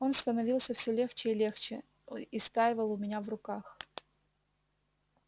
он становился все легче и легче истаивал у меня в руках